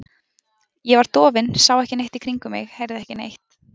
Ég var dofin, sá ekki neitt í kringum mig, heyrði ekki neitt.